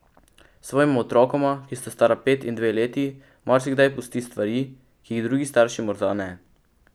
Svojima otrokoma, ki sta stara pet in dve leti, marsikdaj pusti stvari, ki jih drugi starši morda ne.